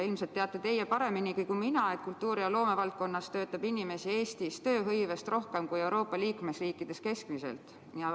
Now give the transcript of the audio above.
Ilmselt teate teie pareminigi kui mina, et Eestis töötab kultuuri- ja loomevaldkonnas inimesi kogu tööhõivega võrreldes rohkem kui Euroopa Liidu liikmesriikides keskmiselt.